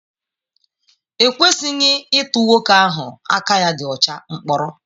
E kwesịghị ịtụ nwoke ahụ aka ya dị ọcha mkpọrọ.